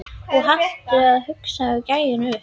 Og halda hausnum á gæjanum uppi!